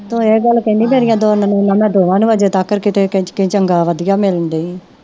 ਤੂੰ ਇਹ ਗੱਲ ਕਹਿੰਦੀ ਤੇਰੀਆਂ ਦੋ ਨਨਾਣਾਂ, ਦੋਵਾਂ ਨੂੰ ਹਜੇ ਤੱਕ ਕਿਤੇ ਕਹਿ ਚੰਗਾ ਵਧੀਆ ਮਿਲਣ ਡੇਈਂ